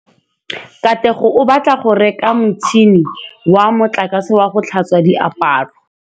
Katlego o batla go reka motšhine wa motlakase wa go tlhatswa diaparo.